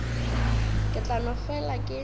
ke tla no fela ke